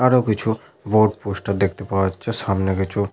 আরো কিছু board poster দেখতে পাওয়া যাচ্ছে সামনে কিছু --